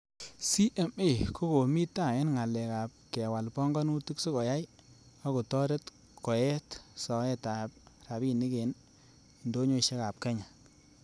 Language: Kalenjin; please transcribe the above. CMA, kokomi taa en ngalek ab kewal pongonutik sikoyai ak kotoret koyeet soetab rabinik en indonyoisiekab kenya.